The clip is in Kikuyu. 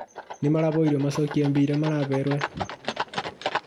Nĩmahoirwo macokie mbia iria maneirwo